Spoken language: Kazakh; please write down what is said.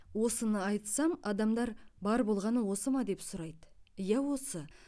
осыны айтсам адамдар бар болғаны осы ма деп сұрайды иә осы